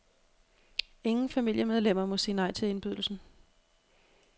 Ingen familiemedlemmer må sige nej til indbydelsen.